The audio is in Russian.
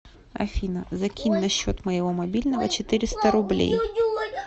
афина закинь на счет моего мобильного четыреста рублей